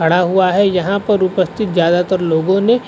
खड़ा हुआ है। यहाँ पर उपस्तिथ ज्यादातर लोगों ने